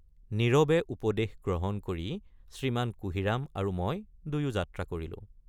নীৰৱে উপদেশ গ্ৰহণ কৰি শ্ৰীমান কুঁহিৰাম আৰু মই দুয়ো যাত্ৰা কৰিলোঁ।